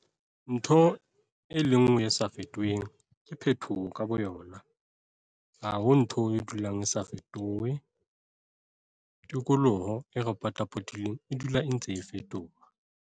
Ntho e le nngwe e sa fetoheng ke phetoho ka boyona - ha ho ntho e dulang e sa fetohe. Tikoloho e re potapotileng e dula e ntse e fetoha.